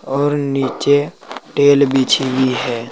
और नीचे टेल बिछी हुई है।